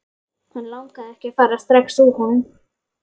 Hann langaði ekki að fara strax úr honum.